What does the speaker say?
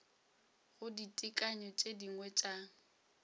go ditekanyo tše dingwe tša